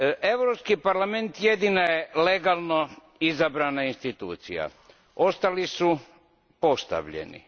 Europski parlament jedina je legalno izabrana institucija. Ostali su postavljeni.